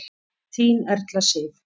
Þín Erla Sif.